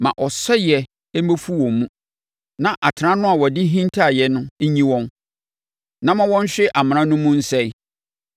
ma ɔsɛeɛ mmɛfu wɔn mu na atena no a wɔde hintaaeɛ nyi wɔn, na ma wɔnhwe amena no mu nsɛe.